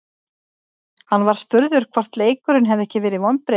Hann var spurður hvort leikurinn hefði ekki verið vonbrigði.